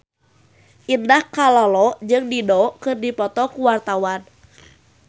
Indah Kalalo jeung Dido keur dipoto ku wartawan